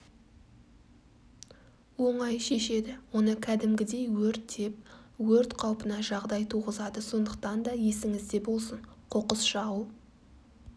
онай шешеді оны кәдімгідей өртеп өрт қаупіне жағдай туғызады сондықтан да есіңізде болсын қоқыс жағу